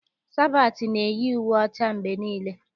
Sabatị na-eyi uwe ọcha mgbe niile.